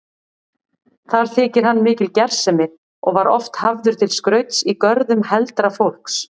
Þar þykir hann mikil gersemi og var oft hafður til skrauts í görðum heldra fólks.